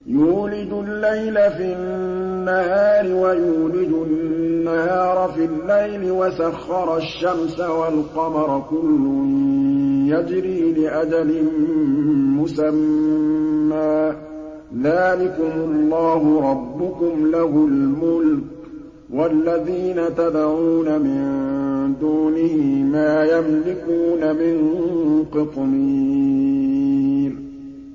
يُولِجُ اللَّيْلَ فِي النَّهَارِ وَيُولِجُ النَّهَارَ فِي اللَّيْلِ وَسَخَّرَ الشَّمْسَ وَالْقَمَرَ كُلٌّ يَجْرِي لِأَجَلٍ مُّسَمًّى ۚ ذَٰلِكُمُ اللَّهُ رَبُّكُمْ لَهُ الْمُلْكُ ۚ وَالَّذِينَ تَدْعُونَ مِن دُونِهِ مَا يَمْلِكُونَ مِن قِطْمِيرٍ